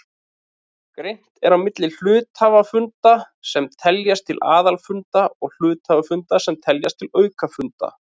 Greint er á milli hluthafafunda sem teljast til aðalfunda og hluthafafunda sem teljast til aukafunda.